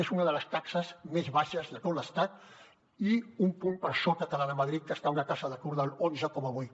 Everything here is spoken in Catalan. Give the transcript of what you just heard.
és una de les taxes més baixes de tot l’estat i un punt per sota que la de madrid que està una taxa d’atur del onze coma vuit